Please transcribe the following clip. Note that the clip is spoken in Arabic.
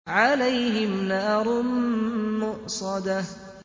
عَلَيْهِمْ نَارٌ مُّؤْصَدَةٌ